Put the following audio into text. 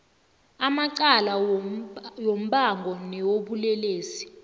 amacala wombango nawobulelesi